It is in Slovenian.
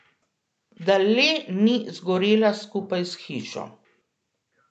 Da le ni zgorela skupaj s hišo?